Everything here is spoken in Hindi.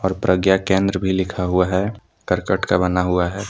और प्रज्ञा केंद्र भी लिखा हुआ है करकट का बना हुआ है।